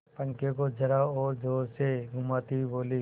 पंखे को जरा और जोर से घुमाती हुई बोली